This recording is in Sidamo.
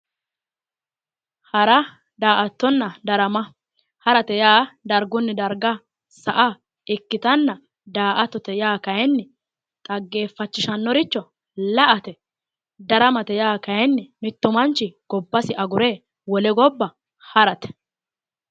Hara da"attona darama, harate yaa dargunni darga sa"a ikkitanna daa"attote yaa kayinni xaggeeffachishannoricho la"ate. Daramate yaa kayinni mittu manchi gobbasi agure wole gobba harate.